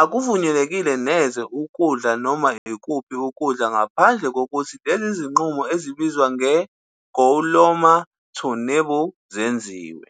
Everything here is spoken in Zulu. Akuvunyelwe neze ukudla noma ikuphi ukukha ngaphandle kokuthi lezi zinqubo ezibizwa nge-go loma, to nibble, zenziwe.